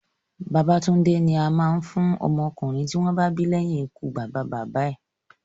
Babatúndé ni a máa ń fún ọmọ ọkùnrin tí wọ́n bá bí leyin ikú bàbá bàbá ẹ̀